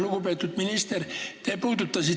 Lugupeetud minister!